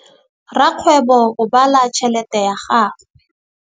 Rakgwêbô o bala tšheletê ya gagwe.